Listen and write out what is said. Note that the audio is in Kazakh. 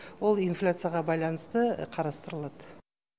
ол инфляцияға байланысты қарастырылады